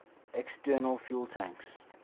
external fuel tanks